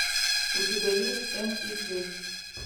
у тебя есть м и джей